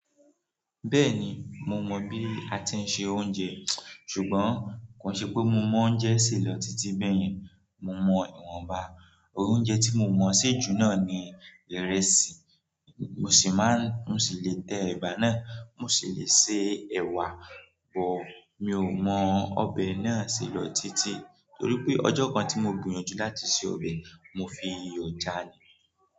Bẹ́ẹ̀ni, mo mọ̀ bí a ti ń se oúnjẹ ṣùgbọ́n kò n ṣe pé mo mọ oúnjẹ ṣe lọ títí bẹ́ẹ̀ yẹn. Mo mọ ìwọ̀nba, oúnjẹ tí mo mọ̀ ṣejú náà ni ìrẹsì, mo sì máa ń mo sì lè tẹ ẹ̀bà náà, mo sì lè se ẹ̀wà bọ̀. Mi ò mọ ọbẹ̀ náà se lọ títí torí pé ọjọ́ kan tí mo gbìyànjú láti se ọbẹ̀, mo fi iyọ̀ já a ní.